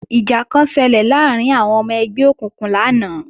Ìjà kan ṣelẹ̀ láàrín àwọn ọmọ ẹgbẹ́ òkùnkùn lánàá